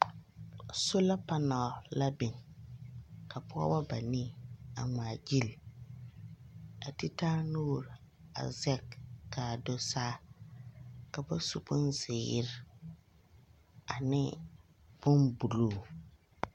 Sola panaal la biŋ, ka pͻgeba banii a ŋmaa gyili. A te taa nuuri a zԑge ka a do saa. Ka bas u bonzeere ane bombuluu.